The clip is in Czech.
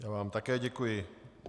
Já vám také děkuji.